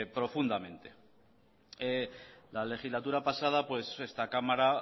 profundamente la legislatura pasada esta cámara